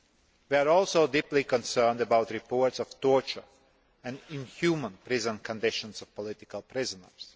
We are also deeply concerned about reports of torture and inhumane prison conditions of political prisoners.